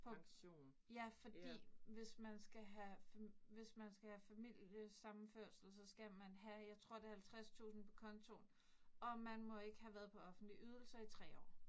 På. Ja, fordi hvis man skal have, hvis man skal have familiesammenførsel, så skal man have jeg tror det 50000 på kontoen, og man må ikke have være på offentlige ydelser i 3 år